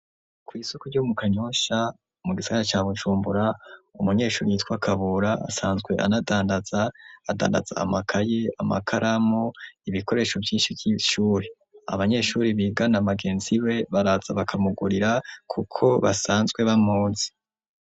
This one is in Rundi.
Kw'Isoko ryo mu kanyosha, mu gisara ca Bucumbura, Umunyeshuri yitwa kabura ,asanzwe anadandaza ,adandaza amakaye, Amakaramu ,ibikoresho vy'inshi vy'ishuri, Abanyeshuri bigana bagenzi be, baraza bakamugurira kuko basanzwe bamuzi.